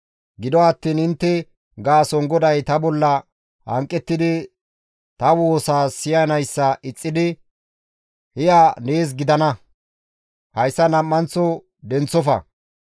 Gido attiin intte gaason GODAY ta bolla hanqettidi ta woosaa siyanayssa ixxidi, «Hi7a nees gidana! Hayssa nam7anththo denththofa!